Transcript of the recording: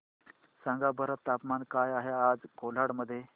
सांगा बरं तापमान काय आहे आज कोलाड मध्ये